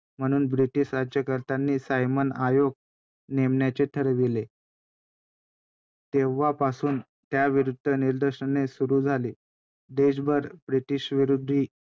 म्हणून british राज्यकर्त्यांनी Simon आयोग नेमण्याचे ठरविले. तेव्हापासून त्याविरुद्ध निदर्शने सुरू झाली. देशभर british विरोधी